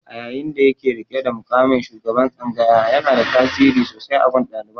A yayin da yake riƙe da muƙamin shugaban tsangayar, yanada tasiri sosai a gun ɗaliban.